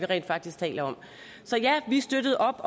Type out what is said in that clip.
rent faktisk taler om så ja vi støttede